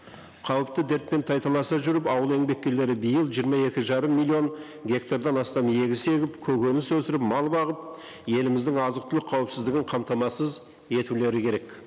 қауіпті дертпен тайталаса жүріп ауыл еңбеккерлері биыл жиырма екі жарым миллион гектардан астам егіс егіп көкөніс өсіріп мал бағып еліміздің азық түлік қауіпсіздігін қамтамасыз етулері керек